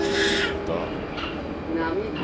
dörr